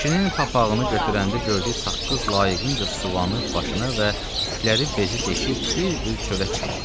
Kişinin papağını götürəndə gördük saqqız layiqincə suvanıb başına və tükləri bezi deşib bir-bir çölə çıxıblar.